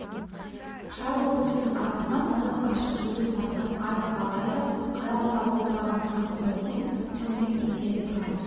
шарбы бұлттың арасынан нұры қашып жүдеу тартқан ай сығалайды қарауыта бұлдыраған күлгін сәуледен төңірек теңселіп тұрғандай